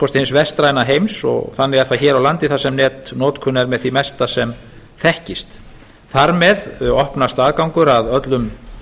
kosti hins vestræna heims og þannig er það hér á landi þar sem netnotkun er með því mesta sem þekkist þar með opnast aðgangur að öllum